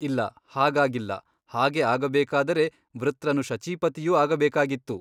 ಇಲ್ಲ ಹಾಗಾಗಿಲ್ಲ ಹಾಗೆ ಆಗಬೇಕಾದರೆ ವೃತ್ರನು ಶಚೀಪತಿಯೂ ಆಗಬೇಕಾಗಿತ್ತು.